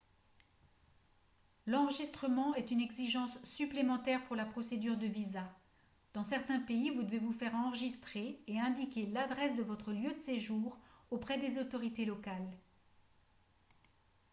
l'enregistrement est une exigence supplémentaire pour la procédure de visa dans certains pays vous devez vous faire enregistrer et indiquer l'adresse de votre lieu de séjour auprès des autorités locales